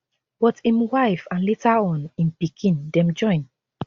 but im wife and later on im pikin dem join